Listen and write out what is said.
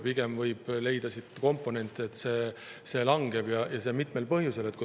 Pigem võib leida komponente, et see langeb, ja seda mitmel põhjusel.